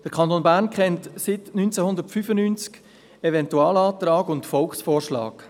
Der Kanton Bern kennt seit 1995 Eventualantrag und Volksvorschlag.